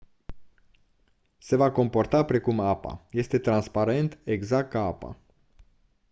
se va comporta precum apa este transparent exact ca apa